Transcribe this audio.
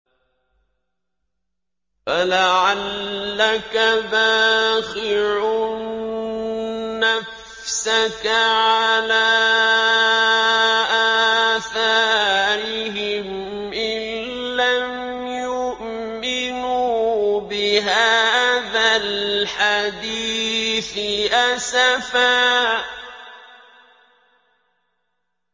فَلَعَلَّكَ بَاخِعٌ نَّفْسَكَ عَلَىٰ آثَارِهِمْ إِن لَّمْ يُؤْمِنُوا بِهَٰذَا الْحَدِيثِ أَسَفًا